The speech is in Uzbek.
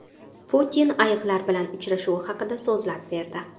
Putin ayiqlar bilan uchrashuvi haqida so‘zlab berdi.